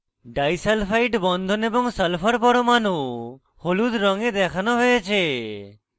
disulphide বন্ধন এবং sulphur পরমাণু হলুদ রঙে দেখানো হয়েছে